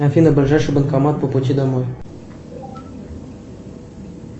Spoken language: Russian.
афина ближайший банкомат по пути домой